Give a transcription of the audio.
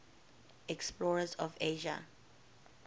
explorers of asia